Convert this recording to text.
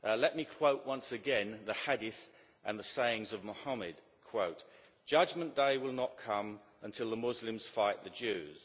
Let me quote, once again, the Hadith and the sayings of Mohammed Judgment day will not come until the Muslims fight the Jews.